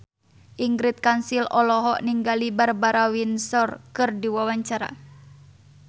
Ingrid Kansil olohok ningali Barbara Windsor keur diwawancara